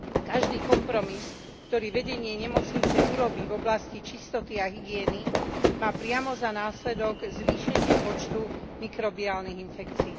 Každý kompromis, ktorý vedenie nemocnice urobí v oblasti čistoty a hygieny, má priamo za následok zvýšenie počtu mikrobiálnych infekcií.